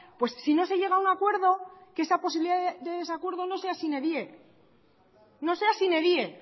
si no se llega a un acuerdo que esa posibilidad de desacuerdo no sea sine die